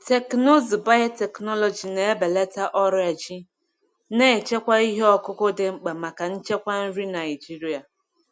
Teknụzụ biotechnology na-ebelata ọrịa ji, na-echekwa ihe ọkụkụ dị mkpa maka nchekwa nri Naijiria.